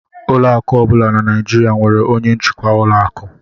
Ụlọ akụ ọ bụla dị na Nigeria nwere onye njikwa ụlọ akụ